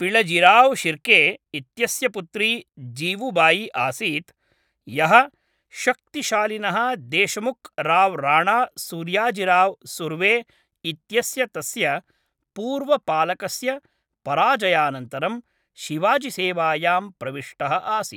पिळजिराव् शिर्के इत्यस्य पुत्री जीवुबायि आसीत्, यः शक्तिशालिनः देशमुख् राव् राणा सूर्याजिराव् सुर्वे इत्यस्य तस्य पूर्वपालकस्य पराजयानन्तरं शिवाजिसेवायां प्रविष्टः आसीत्।